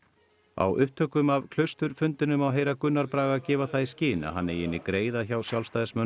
á upptökum af Klausturfundinum má heyra Gunnar Braga gefa það í skyn að hann eigi inni greiða hjá Sjálfstæðismönnum